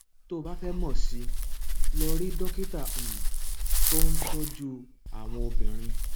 tó o bá fẹ mọ sí i lọ rí dókítà um tó ń tọjú àwọn obìnrin